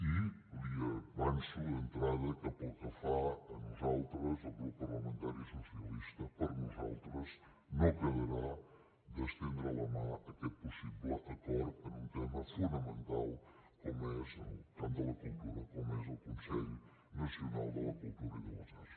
i li avanço d’entrada que pel que fa a nosaltres el grup parlamentari socialista per nosaltres no quedarà d’estendre la mà a aquest possible acord en un tema fonamental com és en el camp de la cultura com és el consell nacional de la cultura i de les arts